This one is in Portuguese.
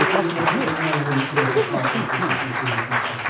Eu passo na rua, tem que ver como eu sou conhecido.